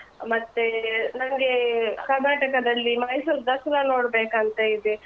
ಮತ್ತೆ ನನ್ಗೆ ಕರ್ನಾಟಕದಲ್ಲಿ ಮೈಸೂರು ದಸ್ರ ನೋಡ್ಬೇಕಂತ ಇದೆ.